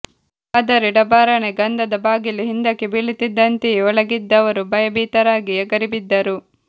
ಆದರೆ ಢಬಾರನೆ ಗಂಧದ ಬಾಗಿಲು ಹಿಂದಕ್ಕೆ ಬೀಳುತ್ತಿದ್ದಂತೆಯೇ ಒಳಗಿದ್ದವರು ಭಯಭೀತರಾಗಿ ಎಗರಿಬಿದ್ದರು